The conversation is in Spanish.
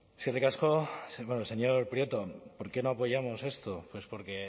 eskerrik asko señor prieto por qué no apoyamos esto pues porque